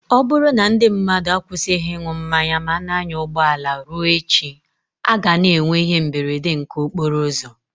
Ọ bụrụ na ndị mmadụ akwụsịghị ịṅụ mmanya ma na-anya ụgbọala, ruo echi, a ga-ana enwe ihe mberede nke okporo ụzọ.